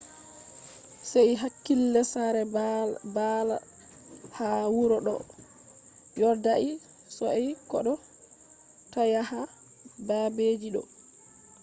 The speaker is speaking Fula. sei hakkila; sare baal ha wuro do vodai sosai kodo ta yaha babeji do